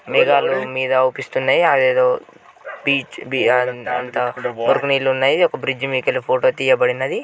మేఘాలు మీద అవుపిస్తున్నాయి. అది ఎదో బీచ్ బీఆర్ అంత అక్కడ ఒరవ నీళ్లు ఉన్నాయి. ఒక బ్రిడ్జి మీద కెల్లీ ఫోటో తీయబడినది.